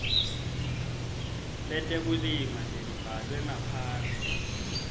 letekulima lelibhalwe ngaphansi